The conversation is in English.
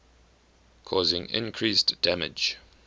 causing increased damage